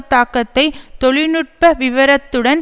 தாக்கத்தை தொழில் நுட்ப விவரத்துடன்